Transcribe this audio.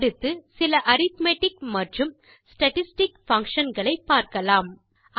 அடுத்து சில அரித்மெட்டிக் மற்றும் ஸ்டாட்டிஸ்டிக் பங்ஷன் களை பார்க்கலாம்